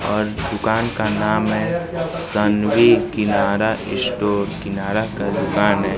और दुकान का नाम है सनवी किनारा स्टोर किनारा की दुकान है।